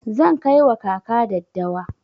Zan kai wa kaka daddawa.